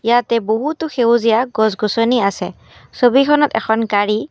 ইয়াতে বহুতো সেউজীয়া গছ-গছনি আছে ছবিখনত এখন গাড়ী --